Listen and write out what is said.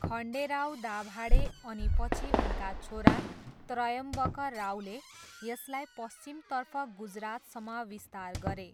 खन्डेराव दाभाडे अनि पछि उनका छोरा त्र्यम्बकरावले यसलाई पश्चिमतर्फ गुजरातसम्म विस्तार गरे।